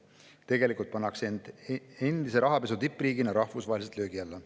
Tegelikult pannakse end endise rahapesu tippriigina rahvusvaheliselt löögi alla.